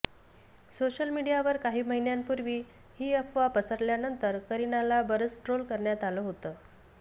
social मीडियावर काही महिन्यांपूर्वी ही अफवा पसरल्यानंतर करिनाला बरंच ट्रोल करण्यात आलं होतं